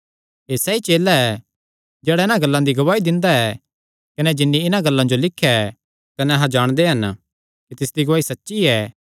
एह़ सैई चेला ऐ जेह्ड़ा इन्हां गल्लां दी गवाही दिंदा ऐ कने जिन्नी इन्हां गल्लां जो लिख्या ऐ कने अहां जाणदे हन कि तिसदी गवाही सच्ची ऐ